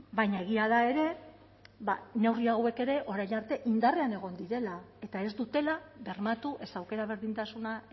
baina egia da ere ba neurri hauek ere orain arte indarrean egon direla eta ez dutela bermatu ez aukera berdintasuna